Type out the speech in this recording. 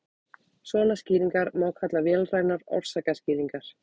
svona skýringar má kalla vélrænar orsakaskýringar